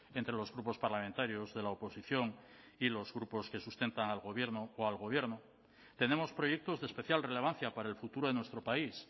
entre los grupos parlamentarios de la oposición y los grupos que sustentan al gobierno o al gobierno tenemos proyectos de especial relevancia para el futuro de nuestro país